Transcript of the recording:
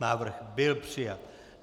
Návrh byl přijat.